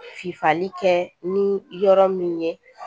F'ale kɛ ni yɔrɔ min ye